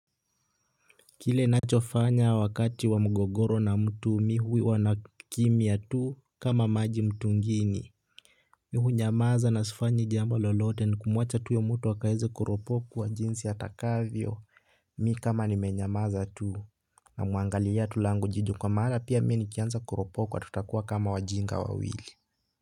Kile ninachofanya wakati wa mgogoro na mtu, mimi huwa nakimya tu, kama maji mtu ngine. Mimi hunyamaza na sifanyi jambo lolote, ni kumwacha tu huyo mtu akaweze kuropokwa jinsi atakavyo. Mimi kama nimenyamaza tu namuangalia ya tu langu jicho kwa maana pia mimi nikianza kuropokwa tutakuwa kama wajinga wawili.